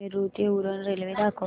नेरूळ ते उरण रेल्वे दाखव